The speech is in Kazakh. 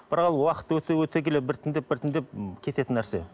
бірақ ол уақыт өте өте келе біртіндеп біртіндеп кететін нәрсе